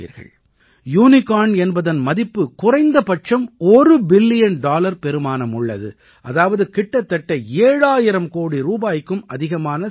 unicorn என்பதன் மதிப்பு குறைந்தபட்சம் ஒரு பில்லியன் டாலர் பெறுமானம் உள்ளது அதாவது கிட்டத்தட்ட 7000 கோடி ரூபாய்க்கும் அதிகமான ஸ்டார்ட் அப்